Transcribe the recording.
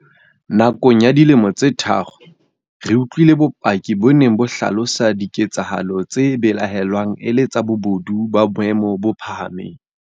Nakong ya dilemo tse tharo, re utlwile bopaki bo neng bo hlalosa diketsa halo tse belaellwang e le tsa bobodu ba boemo bo phahameng.